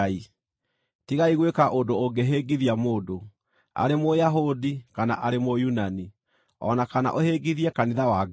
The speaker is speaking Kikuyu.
Tigai gwĩka ũndũ ũngĩhĩngithia mũndũ, arĩ Mũyahudi, kana arĩ Mũyunani, o na kana ũhĩngithie kanitha wa Ngai,